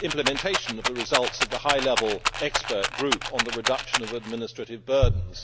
implementation of the results of the high level expert group on the reduction of administrative burdens.